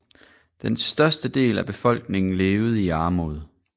Den største del af befolkningen levede i armod